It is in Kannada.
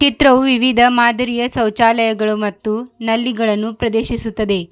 ಚಿತ್ರವು ವಿವಿಧ ಮಾದರಿಯ ಸೌಚಾಲಯಗಳು ಮತ್ತು ನಲ್ಲಿಗಳನ್ನು ಪ್ರದೇಶಿಸುತ್ತದೆ.